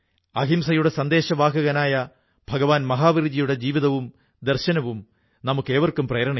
അതുകൊണ്ട് extra profit കൂടിയ ലാഭം കർഷകർക്കിടയിൽ വിതരണം ചെയ്യണമെന്ന് അവർക്കു തോന്നി